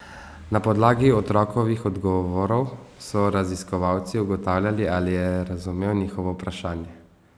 Na podlagi otrokovih odgovorov so raziskovalci ugotavljali, ali je razumel njihovo vprašanje.